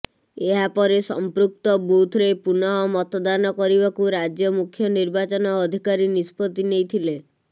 ଏହାପରେ ସଂପୃକ୍ତ ବୁଥରେ ପୁନଃ ମତଦାନ କରିବାକୁ ରାଜ୍ୟ ମୁଖ୍ୟ ନିର୍ବାଚନ ଅଧିକାରୀ ନିଷ୍ପତ୍ତି ନେଇଥିଲେ